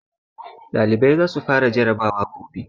Ɗalibai za su fara jarabawa gobe